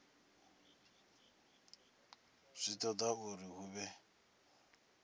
zwi toda uri hu vhe